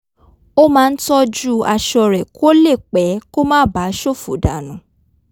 ó máa ń tọ́jú aṣọ rẹ̀ kó lè pẹ́ kó má bàa s̩òfò dànù